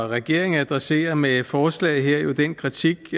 regeringen adresserer med forslaget her jo den kritik